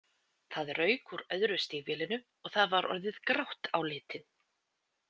Það rauk úr öðru stígvélinu og það var orðið grátt á litinn.